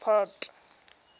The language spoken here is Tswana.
port